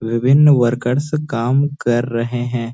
विभिन्‍न वर्कर्स काम कर रहे हैं।